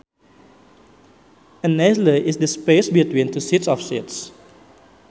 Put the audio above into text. An aisle is the space between two sets of seats